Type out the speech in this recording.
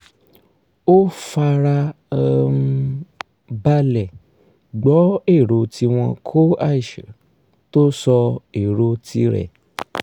ó fara um balẹ̀ gbọ́ èrò tí wọ́n kó tó sọ èrò ti rẹ̀